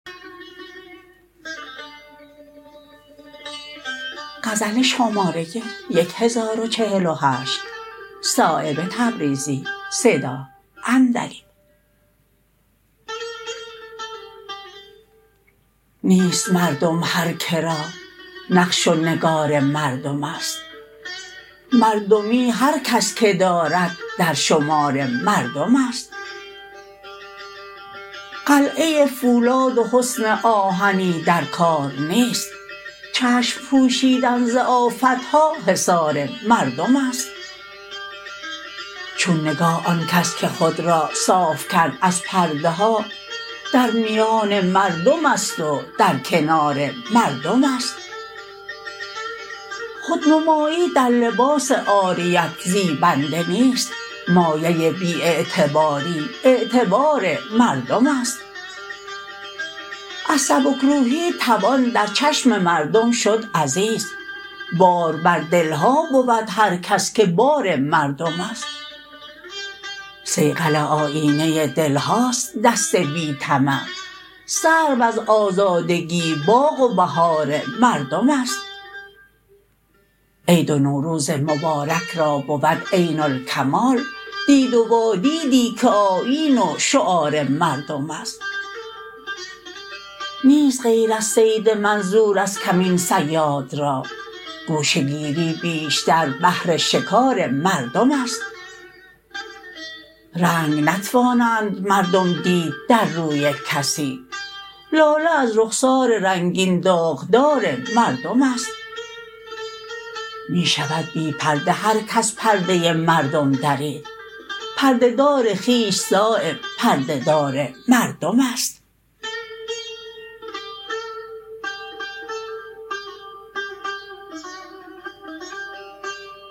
نیست مردم هر که را نقش و نگار مردم است مردمی هر کس که دارد در شمار مردم است قلعه فولاد و حصن آهنی در کار نیست چشم پوشیدن ز آفتها حصار مردم است چون نگاه آن کس که خود را صاف کرد از پرده ها در میان مردم است و در کنار مردم است خودنمایی در لباس عاریت زیبنده نیست مایه بی اعتباری اعتبار مردم است از سبکروحی توان در چشم مردم شد عزیز بار بر دلها بود هر کس که بار مردم است صیقل آیینه دلهاست دست بی طمع سرو از آزادگی باغ و بهار مردم است عید و نوروز مبارک را بود عین الکمال دید و وادیدی که آیین و شعار مردم است نیست غیر از صید منظور از کمین صیاد را گوشه گیری بیشتر بهر شکار مردم است رنگ نتوانند مردم دید در روی کسی لاله از رخسار رنگین داغدار مردم است می شود بی پرده هر کس پرده مردم درید پرده دار خویش صایب پرده دار مردم است